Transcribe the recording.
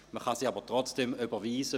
Man kann diese trotzdem überweisen.